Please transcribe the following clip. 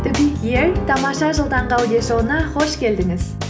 тамаша жыл таңғы аудиошоуына қош келдіңіз